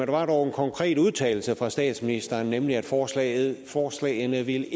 var dog en konkret udtalelse fra statsministeren nemlig at forslagene forslagene ikke